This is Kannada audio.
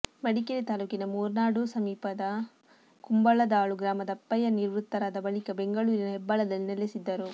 ಮಡಿಕೇರಿ ತಾಲ್ಲೂಕಿನ ಮೂನಾರ್ಡು ಸಮೀಪದ ಕುಂಬಳದಾಳು ಗ್ರಾಮದ ಅಪ್ಪಯ್ಯ ನಿವೃತ್ತರಾದ ಬಳಿಕ ಬೆಂಗಳೂರಿನ ಹೆಬ್ಬಾಳದಲ್ಲಿ ನೆಲೆಸಿದ್ದರು